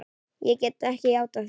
Ég gat ekki játað því.